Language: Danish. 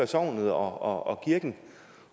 sognet og kirken